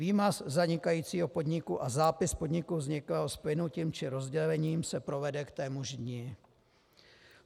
Výmaz zanikajícího podniku a zápis podniku vzniklého splynutím či rozdělením se provede k témuž dni.